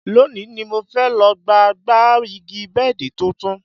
Lónìí ni mo fẹ́ lọ gba gba igi bẹ́ẹ̀dì tuntun